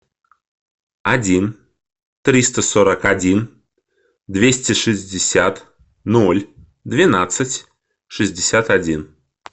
один триста сорок один двести шестьдесят ноль двенадцать шестьдесят один